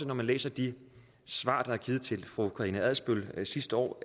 når vi læser de svar der er givet til fru karina adsbøl sidste år